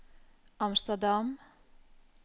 Amsterdam